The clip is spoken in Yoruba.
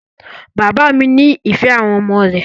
Bàbá mi nífẹ̀ẹ́ àwọn ọmọ rẹ̀.